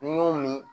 N y'o min